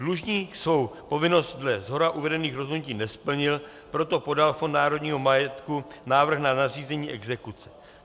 Dlužník svou povinnost dle shora uvedených rozhodnutí nesplnil, proto podal Fond národního majetku návrh na nařízení exekuce.